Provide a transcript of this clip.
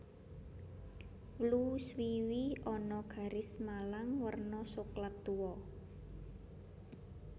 Wlu swiwi ana garis malang werna soklat tuwa